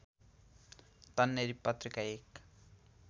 तन्नेरी पत्रिका एक